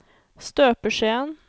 støpeskjeen